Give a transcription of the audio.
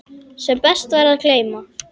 Sem best væri að gleyma.